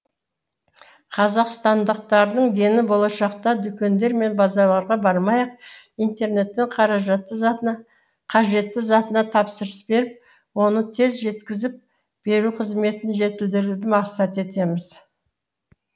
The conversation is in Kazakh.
қазақстандықтардың дені болашақта дүкендер мен базарларға бармай ақ интернеттен қажетті затына тапсырыс беріп оны тез жеткізіп беру қызметін жетілдіруді мақсат етеміз